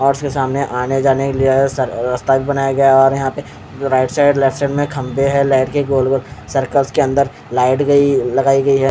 और उसके सामने आने जाने के लिए अ रा रस्ता भी बनाया गया और यहाँ पे राइट साईड लेफ्ट साईड में खंबे है लाइट के गोल गोल सर्कल्स के अंदर लाइट गयी लगायी गयी है।